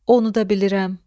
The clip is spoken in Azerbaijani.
Onu da bilirəm.